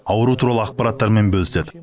ауру туралы ақпараттармен бөліседі